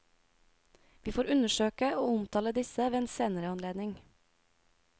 Vi får undersøke og omtale disse ved en senere anledning.